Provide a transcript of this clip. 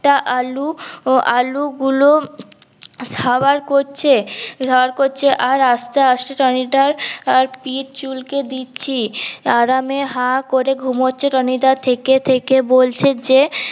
টা আলু আলু গুলো হম সাবার করছে সাবার করছে আর আস্তে আস্তে টনি দার পিট চুলকে দিচ্ছি আরামে হা করে ঘুমছে টনি দা থেকে থেকে বলছে যে